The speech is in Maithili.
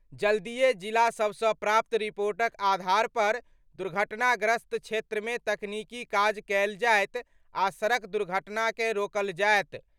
जल्दिये जिलासभसँ प्राप्त रिपोर्टक आधार पर दुर्घटनाग्रस्त क्षेत्रमे तकनीकी काज कयल जायत आ सड़क दुर्घटनाकँ रोकल जायत।